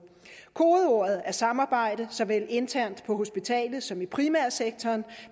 kodeordet er samarbejde såvel internt på hospitalerne som i primærsektoren